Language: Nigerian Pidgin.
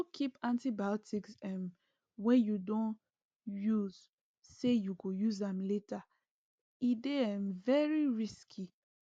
no keep antibiotics um wey u don use say you go use am later e dey um very risky